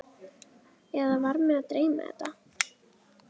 Eða var mig að dreyma þetta?